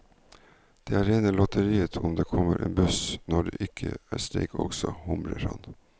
Det er rene lotteriet om det kommer en buss når det ikke er streik også, humrer han.